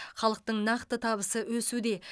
халықтың нақты табысы өсуде